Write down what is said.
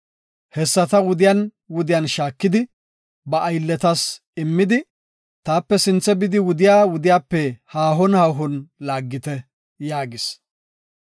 Hessata wuden wuden shaakidi ba aylletas immidi, “Taape sinthe bidi wudiya wudiyape haahon haahon laaggite” yaagis.